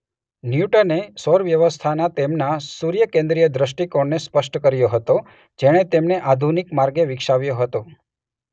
ન્યૂટને સૌર વ્યવસ્થાના તેમના સૂર્યકેન્દ્રીય દ્રષ્ટિકોણને સ્પષ્ટ કર્યો હતો- જેને તેમણે આધુનિક માર્ગે વિકસાવ્યો હતો.